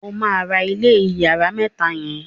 ọ má rà ilé iyàrá mẹta yen.